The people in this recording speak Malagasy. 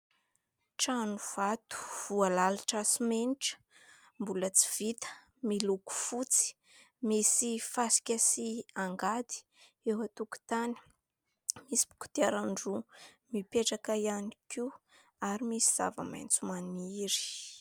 Trano vato voalalitra simenitra, mbola tsy vita, miloko fotsy, misy fasika sy angady eo an-tokotany misy kodiaran-droa mipetraka ihany koa ary misy zava-maitso maniry.